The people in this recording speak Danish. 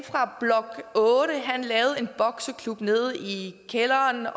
fra blok otte lavede en bokseklub nede i kælderen